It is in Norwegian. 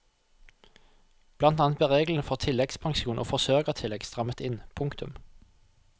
Blant annet ble reglene for tilleggspensjon og forsørgertillegg strammet inn. punktum